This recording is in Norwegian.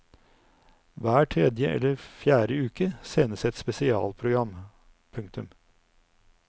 Hver tredje eller fjerde uke sendes et spesialprogram. punktum